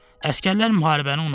Əsgərlər müharibəni unutdu.